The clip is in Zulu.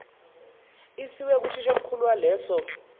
isiwe kuthishomkhulu waleso